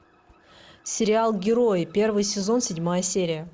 сериал герои первый сезон седьмая серия